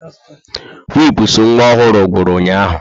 Wipụsụ nwa ọhụrụ ngwuru ụnyahụ.